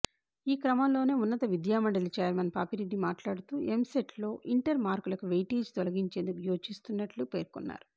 ఈక్రమంలోనే ఉన్నత విద్యామండలి చైర్మన్ పాపిరెడ్డి మాట్లాడుతూ ఎంసెట్లో ఇంటర్ మార్కులకు వెయిటేజ్ తొలగించేందుకు యోచిస్తున్నట్లు పేర్కొన్నారు